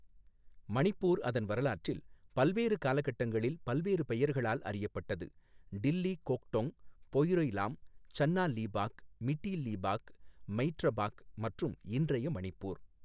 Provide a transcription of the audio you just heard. மணிப்பூர் அதன் வரலாற்றில் பல்வேறு காலகட்டங்களில் பல்வேறு பெயர்களால் அறியப்பட்டது, டில்லி கோக்டொங், பொய்ரை லாம், சன்னா லீபாக், மிட்டி லீபாக், மெய்ட்ரபாக் மற்றும் இன்றைய மணிப்பூர்.